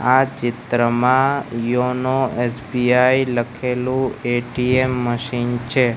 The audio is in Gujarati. આ ચિત્રમાં યોનો એસ_બી_આઈ લખેલુ એ_ટી_એમ મશીન છે.